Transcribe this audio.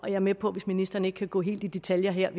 er med på hvis ministeren ikke kan gå helt i detaljer her